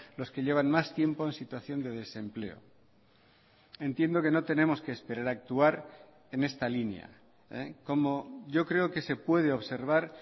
los que llevan más tiempo en situación de desempleo entiendo que no tenemos que esperar a actuar en esta línea como yo creo que se puede observar